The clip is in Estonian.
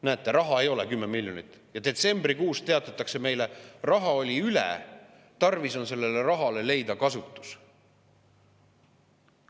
Näete, raha ei ole, 10 miljonit, aga detsembrikuus teatatakse meile, et raha jäi üle ja tarvis on sellele rahale leida kasutus.